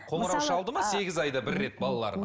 қоңырау шалды ма сегіз айда бір рет балаларына